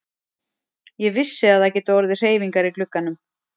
Ég vissi að það gætu orðið hreyfingar í glugganum.